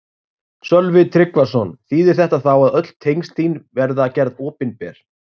Sölvi Tryggvason: Þýðir þetta þá að öll tengsl þín verða gerð opinber?